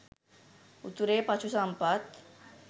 උතුරේ පශු සම්පත්